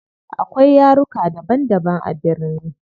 Akwai yaruka daban daban a birni.